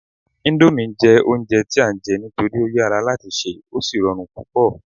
indomie jé ounjẹ ti a n je nitori o yara lati ṣe o sí rọrùn púpò